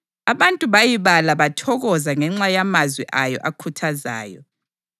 Abantu bayibala bathokoza ngenxa yamazwi ayo akhuthazayo.